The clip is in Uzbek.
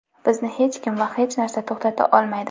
"Bizni hech kim va hech narsa to‘xtata olmaydi".